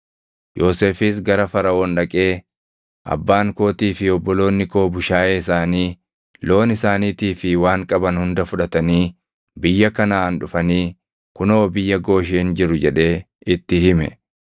Yoosefis gara Faraʼoon dhaqee, “Abbaan kootii fi obboloonni koo bushaayee isaanii, loon isaaniitii fi waan qaban hunda fudhatanii biyya Kanaʼaan dhufanii kunoo biyya Gooshen jiru” jedhee itti hime.